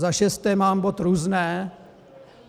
Za šesté mám bod různé.